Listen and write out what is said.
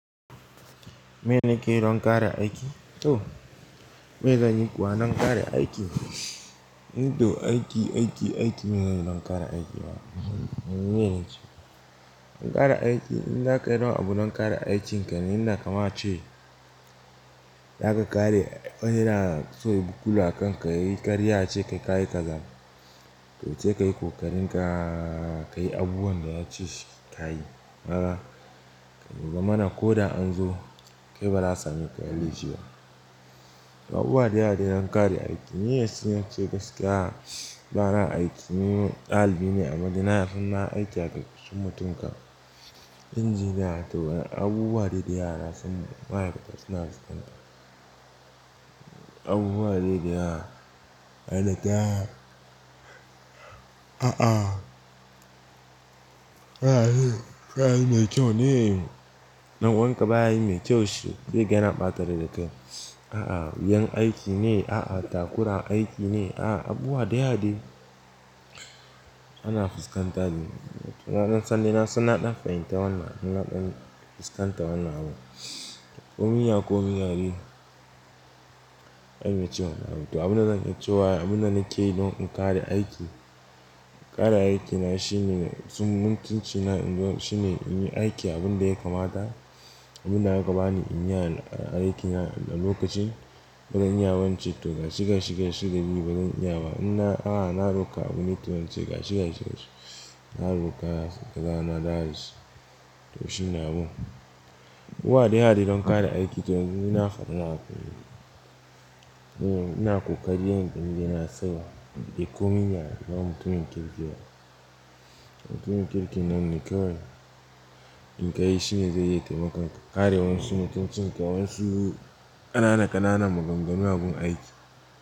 Me nake yi don ƙare aiki? To, me zan yi kuwa don kare aiki? To aiki, aiki, aiki me zanyi don ƙare aiki? Wane ne shi? Ƙare aiki, inza ka yi don abu don ƙare aikinka ne, inda kaman a ce za ka kare wank na so yayi bukulu akan ka, ya yi ƙarya a ce kai kayi kaza. To, se ka yi ko ka rinƙa ka yi abubuwan da ya ce ka yi. Kaga, ka za mana ko da an zo kai ba za a sami kayi laifi ba. Abubuwa da yawa dai na kare aiki, ni yanzu zance gaskiya bana aiki, ni ɗalibi ne amma dai nasan nayi aiki a ƙarƙashin mutum kam injiniya, to abubuwa dai dayawa nasan ma'aikata suna fiskanta abubuwa dai yawa. Ai da ta, a'a. Ai, kayi mai kyau ne, ɗan uwanka baya yij mai kyau shi, zai ga yana ɓata rai da kai. A'a, yan aiki ne, a'a, takura aiki ne, a'a, abuwa da yawa dai, ana fuskantar ni. Na san dai na ɗan fahimta wannan, na ɗan fuskanta wannan abu. Komin ya, komin ya dai. Waye mai cin wannan abun, to abun da zan iya cewa, abun da nake yi don in kare aiki. Kare aiki na shi ne mutuncina shinei n zo shi ne in yi aiki abun da ya kamata. Abun da aka ba ni in yi aiki na a lokacin. Ba zan iya ba ince to gashi, gashi, gashi dan ni bazan iya ba, in na a'a na roƙa abune to ince gashi, gashi, gashi. Na roƙa da rana that is. To, shine abun. Abuwa da yawa dai don kare aiki to yanzu ni na faɗi nawa. Ina ƙoƙari yanda ni dai na sani, komin yaya, ba mutumin kirki ba. Mutumin kirki nan ne kawai. In ka yi shi ne zai iya taimakan ka. Kare wansu mutuncin ka, wansu ƙanana ƙananan maganganu abun aiki.